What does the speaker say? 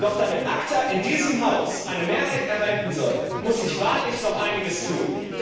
Doch wenn ACTA in diesem Haus eine Mehrheit erhalten soll, muss sich wahrlich noch einiges tun.